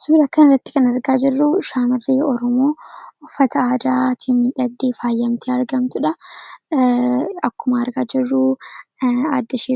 Kan asirratti argaa jirru dubra uuffata adaa uffattee jirtudha. Uffanni kun faayidaa madaalamuu hin dandeenye fi bakka bu’iinsa hin qabne qaba. Jireenya guyyaa guyyaa keessatti